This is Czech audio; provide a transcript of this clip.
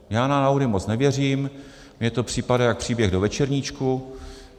Já na náhody moc nevěřím, mně to připadá jak příběh do večerníčku.